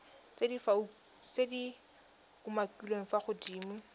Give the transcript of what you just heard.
tse di umakiliweng fa godimo